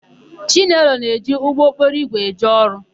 Chinelo na-eji ụgbọokporoigwe eje ọrụ.